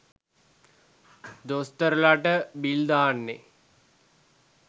දොස්තරලට bill දාන්නේ?